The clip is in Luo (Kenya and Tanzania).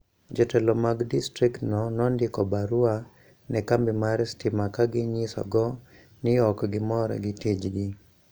Jotelo mag distriktgo nondiko barua ne kambi mar stima ka ginyisogo ni ok gimor gi tijgi.